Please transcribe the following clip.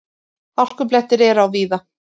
Hálkublettir er á víða